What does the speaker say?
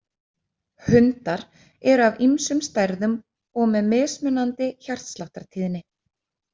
Hundar eru af ýmsum stærðum og með mjög mismunandi hjartsláttartíðni.